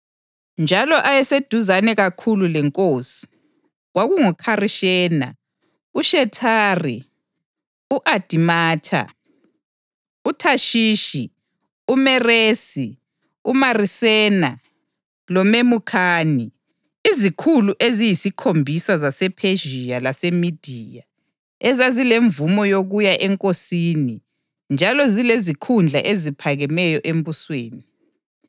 njalo ayeseduzane kakhulu lenkosi kwakunguKharishena, uShethari, u-Adimatha, uThashishi, uMeresi, uMarisena loMemukhani, izikhulu eziyisikhombisa zasePhezhiya laseMediya ezazilemvumo yokuya enkosini njalo zilezikhundla eziphakemeyo embusweni.